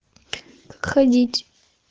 ходить